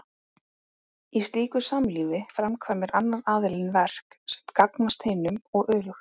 Í slíku samlífi framkvæmir annar aðilinn verk sem gagnast hinum og öfugt.